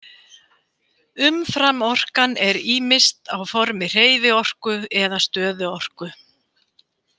Umframorkan er ýmist á formi hreyfiorku eða stöðuorku.